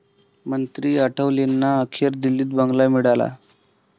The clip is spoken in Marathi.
मंत्री आठवलेंना अखेर दिल्लीत बंगला मिळाला!